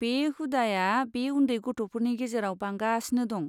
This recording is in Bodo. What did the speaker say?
बे हुदाआ बे उन्दै गथ'फोरनि गेजेराव बांगासिनो दं।